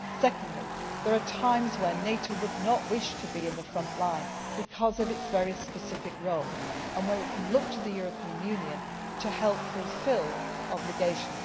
Secondly, there are times when NATO would not wish to be in the front line because of its very specific role, and here it can look to the European Union to help fulfil obligations.